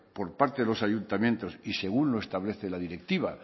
por parte de los ayuntamientos y según lo establece la directiva